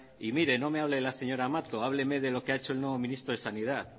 y mire no me hable de la señora mato hábleme de lo que ha hecho el nuevo ministro de sanidad